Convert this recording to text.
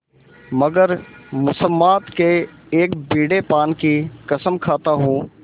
मगर मुसम्मात के एक बीड़े पान की कसम खाता हूँ